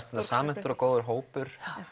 þetta samhentur og góður hópur